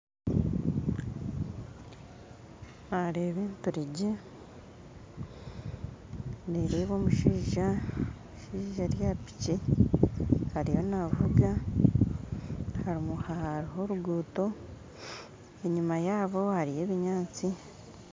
Nareeba enturegye nereeba omushaija omushaija ari aha piki ariyo navuga harumu haroho oruguuto enyuma yabo hariyo ebinyaatsi